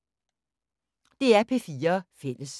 DR P4 Fælles